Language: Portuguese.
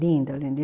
Lindo, lindo.